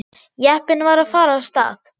Jeppinn var að fara af stað.